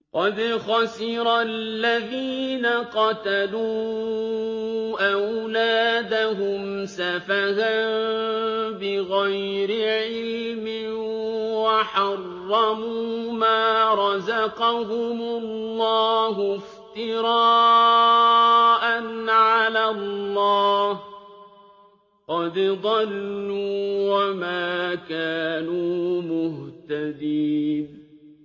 قَدْ خَسِرَ الَّذِينَ قَتَلُوا أَوْلَادَهُمْ سَفَهًا بِغَيْرِ عِلْمٍ وَحَرَّمُوا مَا رَزَقَهُمُ اللَّهُ افْتِرَاءً عَلَى اللَّهِ ۚ قَدْ ضَلُّوا وَمَا كَانُوا مُهْتَدِينَ